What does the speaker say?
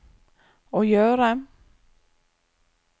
å gjøre